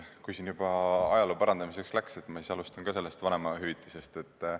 Kui siin juba ajaloo parandamiseks läks, siis ma alustan ka sellest vanemahüvitise teemast.